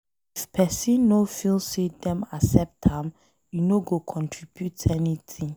If pesin no feel say Dem accept am, e no go contribute anything.